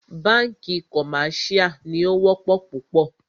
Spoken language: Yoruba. Bánkì commercial ní o wọ́pọ̀ púpọ̀.